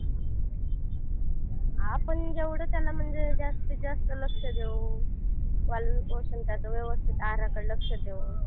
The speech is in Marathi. आपण जेवढं त्यांना म्हणजे जास्तीत जास्त त्यांना लक्ष देऊ पालन पोषण व्यवस्थित त्याच्या आहाराकडं लक्ष देऊ